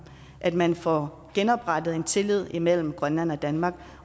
at man får genoprettet tilliden imellem grønland og danmark